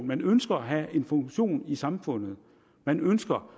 man ønsker at have en funktion i samfundet man ønsker